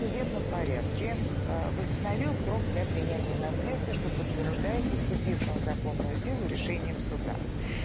судебном порядке восстановил срок для принятия наследства что подтверждается вступившим в законную силу решением суда